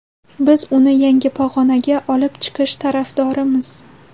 biz uni yangi pog‘onaga olib chiqish tarafdorimiz.